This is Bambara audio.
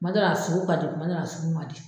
kuma dɔw la a sugu ka di kuma dɔw la a sugu ma di.